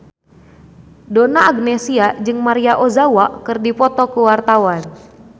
Donna Agnesia jeung Maria Ozawa keur dipoto ku wartawan